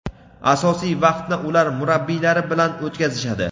asosiy vaqtni ular murabbiylari bilan o‘tkazishadi.